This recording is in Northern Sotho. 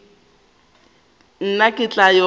nna ke tla ya go